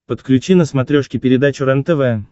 подключи на смотрешке передачу рентв